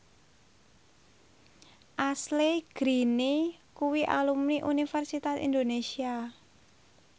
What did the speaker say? Ashley Greene kuwi alumni Universitas Indonesia